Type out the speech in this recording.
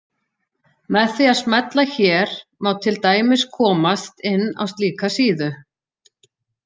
Með því að smella hér má til dæmis komast inn á slíka síðu.